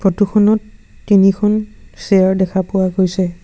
Photo খনত তিনিখন chair দেখা পোৱা গৈছে।